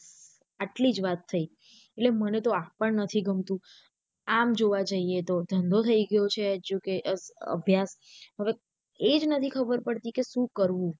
આટલીજ વાત થઇ એટલે મને તો આ પણ નથી ગમતું આમ જોવા જઇયે તો ધંધો થઇ ગયો છે અભ્યાસ હવે એ જ નથી ખબર પડતી કે શું કરવું.